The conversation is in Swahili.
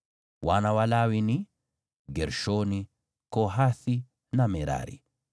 Wana wa Lawi ni: Gershoni, Kohathi na Merari.